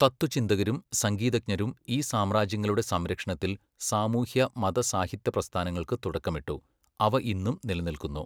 തത്ത്വചിന്തകരും സംഗീതജ്ഞരും ഈ സാമ്രാജ്യങ്ങളുടെ സംരക്ഷണത്തിൽ സാമൂഹ്യ, മത, സാഹിത്യ പ്രസ്ഥാനങ്ങൾക്ക് തുടക്കമിട്ടു, അവ ഇന്നും നിലനിൽക്കുന്നു.